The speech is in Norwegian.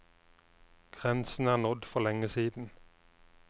Grensen er nådd for lenge siden.